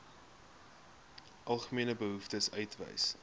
algemene behoeftes uitwys